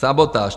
Sabotáž!